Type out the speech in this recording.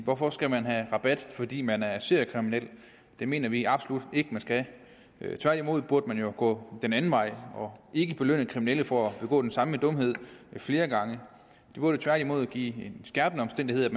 hvorfor skal man have rabat fordi man er seriekriminel det mener vi absolut ikke at man skal tværtimod burde man jo gå den anden vej og ikke belønne kriminelle for at begå den samme dumhed flere gange det burde tværtimod blive en skærpende omstændighed